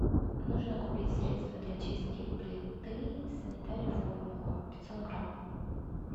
нужно купить средство для чистки плиты санитари формула пятьсот грамм